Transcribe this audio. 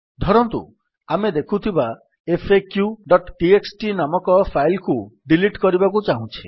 ଧରନ୍ତୁ ଆମେ ଦେଖୁଥିବା faqଟିଏକ୍ସଟି ନାମକ ଫାଇଲ୍ କୁ ଡିଲିଟ୍ କରିବାକୁ ଚାହୁଁଛେ